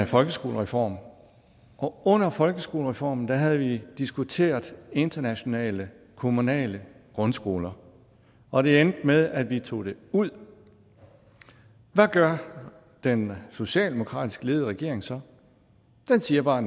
folkeskolereform og under folkeskolereformen havde vi diskuteret internationale kommunale grundskoler og det endte med at vi tog det ud hvad gør den socialdemokratisk ledede regering så den siger bare